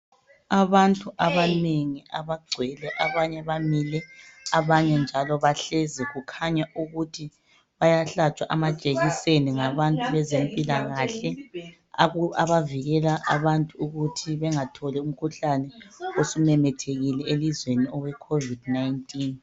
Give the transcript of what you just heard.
Abantu abanengi abagcwele abanye bamile abanye njalo bahlezi kukhanya ukuthi bayahlatshwa amajekiseni ngabantu bezempilakahle abavikela abantu ukuthi bengatholi umkhuhlane osumemethekile elizweni owe covid 19.